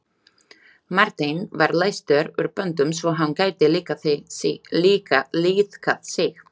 Marteinn var leystur úr böndum svo hann gæti liðkað sig.